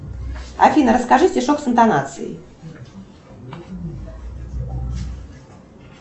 афина расскажи стишок с интонацией